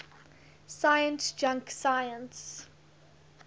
science junk science